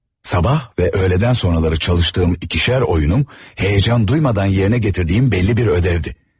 Sabah və öğlədən sonraları çalıştığım ikişər oyunum, həyəcan duymadan yerinə gətirdiyim bəlli bir ödəvdi.